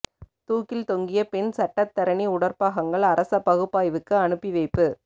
தூக்கில் தொங்கிய பெண் சட்டத்தரணி உடற்பாகங்கள் அரச பகுப்பாய்வுக்கு அனுப்பி வைப்பு